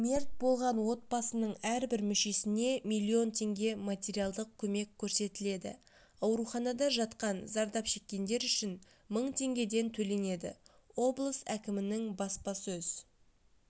мерт болған отбасының әрбір мүшесіне миллион теңге материалдық көмек көрсетіледі ауруханада жатқан зардап шеккендер үшін мың теңгеден төленеді облыс әкімінің баспасөз